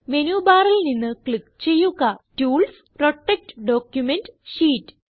menu ബാറിൽ നിന്ന് click ചെയ്യുക ടൂൾസ് പ്രൊട്ടക്ട് ഡോക്യുമെന്റ് ഷീറ്റ്